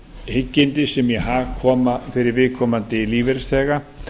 hyggindi sem í hag koma fyrir viðkomandi lífeyrisþega